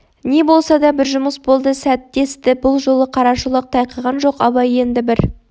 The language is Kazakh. не болса да бір жұмыс болды сәт десті бұл жолы қарашолақ тайқыған жоқ абай енді бір